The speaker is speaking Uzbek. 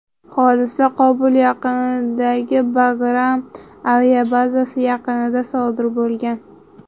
Hodisa Qobul yaqinidagi Bagram aviabazasi yaqinida sodir bo‘lgan.